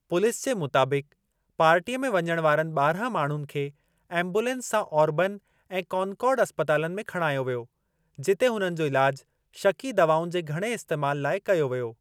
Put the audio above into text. Police जे मुताबिक़, पार्टीअ में वञण वारनि ॿारहं माण्हुनि खे एम्बुलेंस सां ऑबर्न ऐं कॉनकॉर्ड अस्पतालनि में खणायो वियो, जिते हुननि जो इलाज शकी दवाउनि जे घणे इस्तैमाल लाइ कयो वियो।